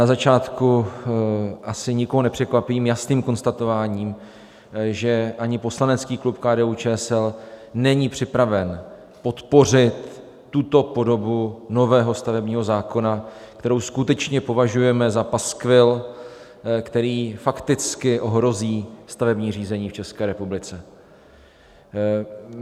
Na začátku asi nikoho nepřekvapím jasným konstatováním, že ani poslanecký klub KDU-ČSL není připraven podpořit tuto podobu nového stavebního zákona, kterou skutečně považujeme za paskvil, který fakticky ohrozí stavební řízení v České republice.